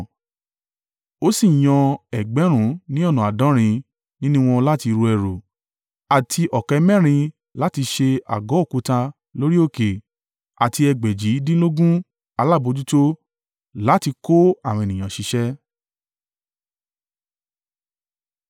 Ó sì yan ẹgbẹ̀rún ní ọ̀nà àádọ́rin (70,000) nínú wọn láti ru ẹrù, àti ọ̀kẹ́ mẹ́rin (80,000) láti ṣe àgọ́ òkúta lórí òkè, àti egbèjìdínlógún (3,600) alábojútó láti kó àwọn ènìyàn ṣiṣẹ́.